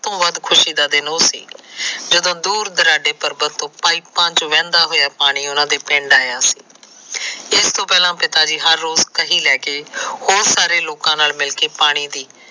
ਖੁਸੀ ਦਾ ਦਿਨ ਉਹ ਸੀ ਜਦੋਂ ਦੂਰ ਦੁਰਾਡੇ ਪਰਬਤ ਤੋ ਪਾਇਪਾ ਚ ਬਹਿੰਦਾ ਹੋਇਆ ਪਾਣੀ ਉਹਨਾ ਦੇ ਪਿੰਡ ਆਇਆ ਇਸ ਤੋਂ ਪਹਿਲਾ ਪਿਤਾ ਜੀ ਰੋਜ ਕਹੀ ਲੈਕੇ ਉਹ ਸਾਰੇ ਲੋਕਾ ਨਾਲ ਮਿਲਕੇ ਪਾਣੀ ਦੀ